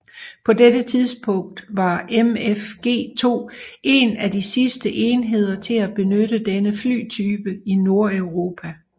På dette tidspunkt var MFG2 en af de sidste enheder til at benytte denne flytype i Nordeuropa